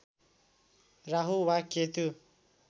राहु वा केतु